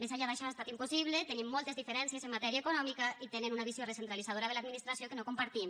més enllà d’això ha estat impossible tenim moltes diferències en matèria econòmica i tenen una visió recentralitzadora de l’administració que no compartim